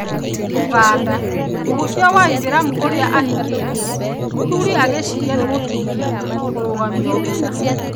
ũganda: mũhunjia wa aithĩramu ũrĩa 'ahikĩtie' mũthũri agĩciria nĩ mũtumia kũrũgamio wĩra.